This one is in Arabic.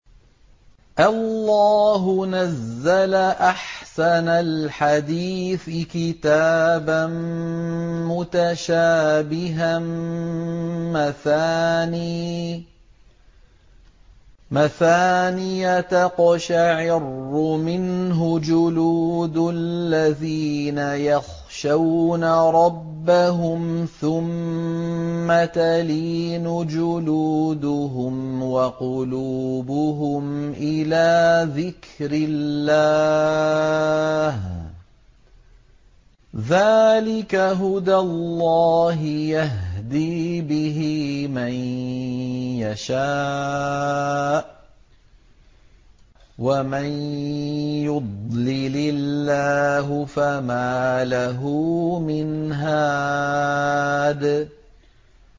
اللَّهُ نَزَّلَ أَحْسَنَ الْحَدِيثِ كِتَابًا مُّتَشَابِهًا مَّثَانِيَ تَقْشَعِرُّ مِنْهُ جُلُودُ الَّذِينَ يَخْشَوْنَ رَبَّهُمْ ثُمَّ تَلِينُ جُلُودُهُمْ وَقُلُوبُهُمْ إِلَىٰ ذِكْرِ اللَّهِ ۚ ذَٰلِكَ هُدَى اللَّهِ يَهْدِي بِهِ مَن يَشَاءُ ۚ وَمَن يُضْلِلِ اللَّهُ فَمَا لَهُ مِنْ هَادٍ